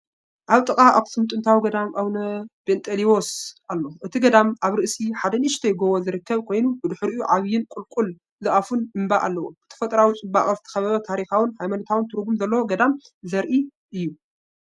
ኣብ ጥቓ ኣኽሱም ጥንታዊ ገዳም ኣቡነ ጴንጠሌዎን ኣሎ። እቲ ገዳም ኣብ ርእሲ ሓደ ንእሽተይ ጎቦ ዝርከብ ኮይኑ፡ ብድሕሪኡ ዓቢይን ቁልቁል ዝኣፉን እምባ ኣለዎ። ብተፈጥሮኣዊ ጽባቐ ዝተኸበበ ታሪኻውን ሃይማኖታውን ትርጉም ዘለዎ ገዳም ዘርኢ እዩ።